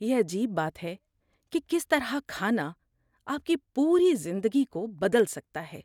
یہ عجیب بات ہے کہ کس طرح کھانا آپ کی پوری زندگی کو بدل سکتا ہے۔